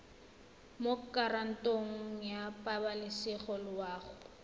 mo kantorong ya pabalesego loago